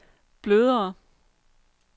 blødere